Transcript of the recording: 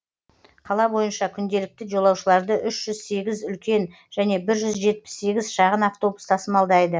қала бойынша күнделікті жолаушыларды үш жүз сегіз үлкен және бір жүз жетпіс сегіз шағын автобус тасымалдайды